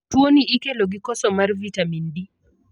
Tuo ni ikelo gi koso mar vitamin D.